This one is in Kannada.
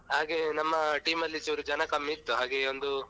ಹಾಗೆ ನಮ್ಮ team ಅಲ್ಲಿ ಚೂರು ಜನ ಕಮ್ಮಿ ಇತ್ತು ಹಾಗೆ ಒಂದು.